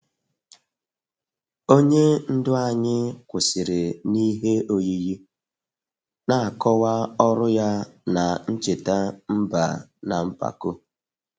Onye ndu anyị kwụsịrị n'ihe oyiyi, na-akọwa ọrụ ya na ncheta mba na mpako